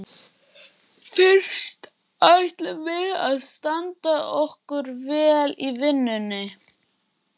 Fyrst ætlum við að standa okkur vel í vinnunni.